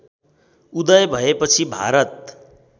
उदय भएपछि भारत